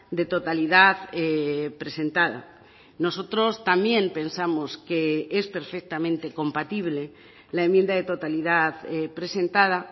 de totalidad presentada nosotros también pensamos que es perfectamente compatible la enmienda de totalidad presentada